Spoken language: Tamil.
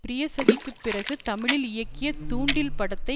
ப்ரியசகிக்குப் பிறகு தமிழில் இயக்கிய தூண்டில் படத்தை